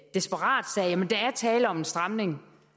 desperat sagde jamen der er tale om en stramning